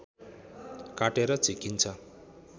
काटेर झिकिन्छ